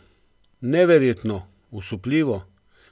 Neverjetno, osupljivo!